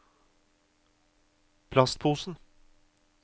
plastposen